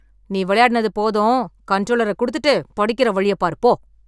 நீ விளையாடினது போதும். கன்ட்ரோலரக் குடுத்துட்டுப் படிக்கற வழியப் பாரு போ.